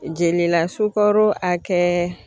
Jelila sukaro hakɛ